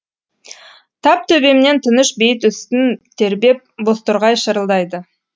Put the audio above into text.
тап төбемнен тыныш бейіт үстін тербеп бозторғай шырылдайды